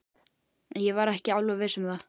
Ég var ekki alveg viss um það.